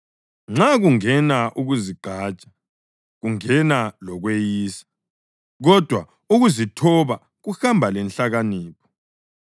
Nxa kungena ukuzigqaja kungena lokweyisa, kodwa ukuzithoba kuhamba lenhlakanipho.